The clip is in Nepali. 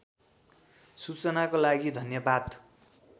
सूचनाको लागि धन्यवाद